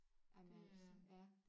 Ej men altså ja